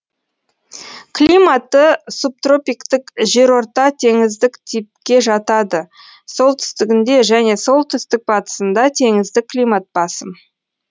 климаты субтропиктік жерортатеңіздік типке жатады солтүстігінде және солтүстік батысында теңіздік климат басым